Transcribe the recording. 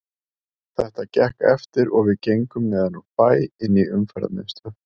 Þetta gekk eftir og við gengum neðan úr bæ inn í Umferðarmiðstöð.